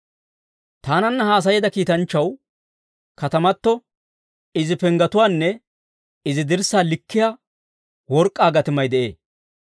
Taananna haasayeedda kiitanchchaw katamato, izi penggetuwaanne izi dirssaa likkiyaa work'k'aa gatimay de'ee.